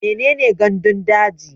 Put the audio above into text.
Mene ne gandun daji?